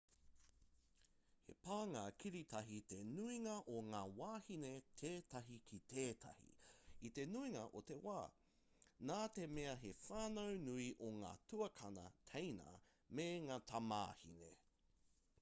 he pānga kiritahi te nuinga o ngā wāhine tētahi ki tētahi i te nuinga o te wā nā te mea he whānau nui o ngā tuakana/teina me ngā tamāhine